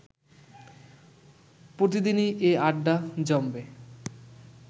প্রতিদিনই এ আড্ডা জমবে